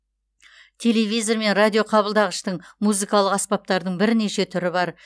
телевизор мен радиоқабылдағыштың музыкалық аспаптардың бірнеше түрі бар